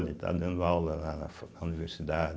Ele está dando aula lá na fa na universidade.